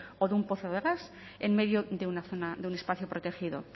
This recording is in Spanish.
o de un pozo de gas en medio de una zona de un espacio protegido